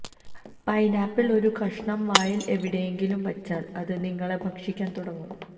pineapple ഒരു കഷണം വായിൽ എവിടെയെങ്കിലും വച്ചാൽ അത് നിങ്ങളെ ഭക്ഷിക്കാൻ തുടങ്ങും